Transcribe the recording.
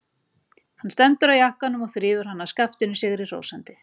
Hann stekkur á jakkann og þrífur hann af skaftinu sigri hrósandi.